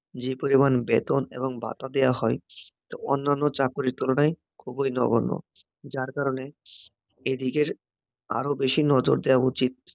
যে পরিমাণ বেতন এবং ভাতা দেওয়া হয়, তো অন্যান্য চাকুরীর তুলনায় খুবই নগণ্য, যার কারণে এদিকের আরও বেশি নজর দেওয়া উচিত